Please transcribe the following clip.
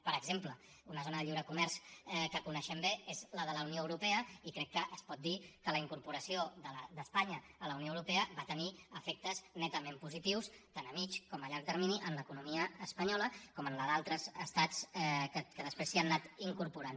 per exemple una zona de lliure comerç que coneixem bé és la de la unió europea i crec que es pot dir que la incorporació d’espanya a la unió europea va tenir efectes netament positius tant a mitjà com a llarg termini en l’economia espanyola com en la d’altres estats que després s’hi han anat incorporant